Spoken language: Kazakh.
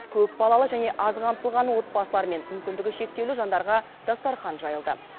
көпбалалы және аз қамтылған отбасылар мен мүмкіндігі шектеулі жандарға дастархан жайылды